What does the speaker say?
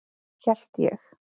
Hélt ég.